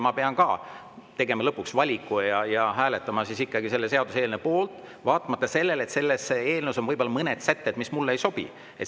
Lõpuks tuleb teha valik ja ehk hääletada seaduseelnõu poolt, vaatamata sellele, et selles on mõned sätted, mis mulle ei sobi.